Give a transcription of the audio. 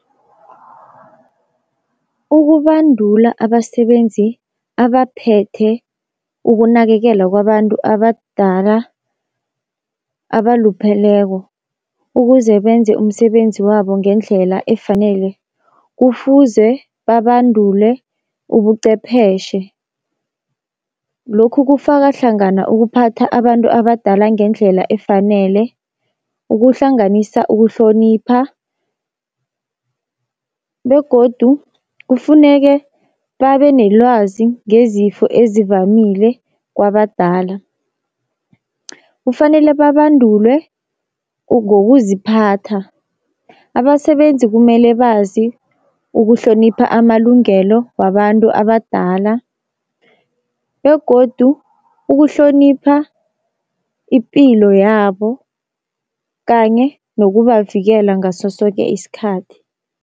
Ukubandula abasebenzi abaphethe ukunakekela kwabantu abadala abalupheleko ukuze benze umsebenzi wabo ngendlela efanele. Kufuze babandulwe ubuqepheshe lokhu kufaka hlangana ukuphatha abantu abadala ngendlela efanele, ukuhlanganisa ukuhlonipha begodu kufuneke babe nelwazi ngezifo ezivamile kwabadala. Kufanele babandulwe ngokuziphatha, abasebenzi kumele bazi ukuhlonipha amalungelo wabantu abadala, begodu ukuhlonipha ipilo yabo kanye nokubavikela ngaso soke isikhathi.